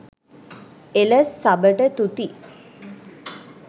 එලස් සබට තුති